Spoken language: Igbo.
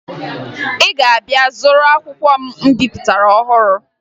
Ị ga-abịa zụrụ akwụkwọ m bipụtara ọhụru